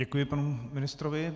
Děkuji panu ministrovi.